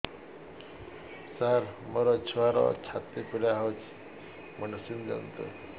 ସାର ମୋର ଛୁଆର ଛାତି ପୀଡା ହଉଚି ମେଡିସିନ ଦିଅନ୍ତୁ